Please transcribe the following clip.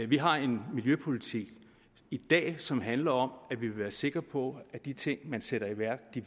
vi har en miljøpolitik i dag som handler om at vi vil være sikre på at de ting man sætter i værk